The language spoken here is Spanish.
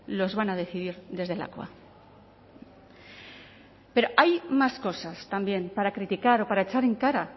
los van a decidir desde lakua pero hay más cosas también para criticar o para echar en cara a